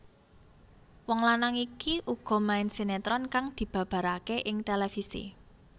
Wong lanang iki uga main sinetron kang dibabaraké ing televisi